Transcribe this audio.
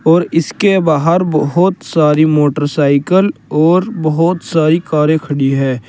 और इसके बाहर बोहोत सारी मोटरसाइकल और बोहोत सारी कारें खड़ी हैं।